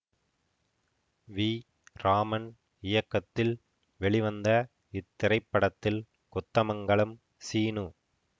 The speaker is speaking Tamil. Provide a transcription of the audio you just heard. வி ராமன் இயக்கத்தில் வெளிவந்த இத்திரைப்படத்தில் கொத்தமங்கலம் சீனு